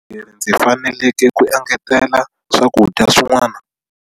Rini ndzi faneleke ku engetela swakudya swin'wana?